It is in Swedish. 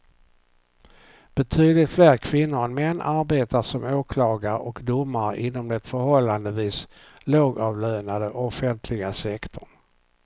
Betydligt fler kvinnor än män arbetar som åklagare och domare inom den förhållandevis lågavlönande offentliga sektorn.